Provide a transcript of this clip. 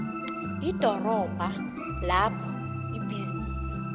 idorobha lapho ibhizinisi